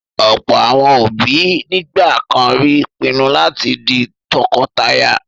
Ọ̀pọ̀ àwọn òbí nígbà kan rí pinnu láti di tọkọtaya.